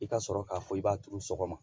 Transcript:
I ka sɔrɔ k'a fɔ i b'a turu sɔgɔma